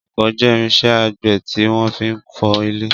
Ọkọ́ jẹ́ irinṣẹ́ àgbẹ̀ tí wọ́n fi ń fọ́ ilẹ̀.